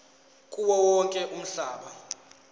kuwo wonke umhlaba